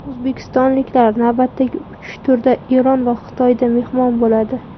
O‘zbekistonliklar navbatdagi uch turda Eron va Xitoyda mehmon bo‘ladi.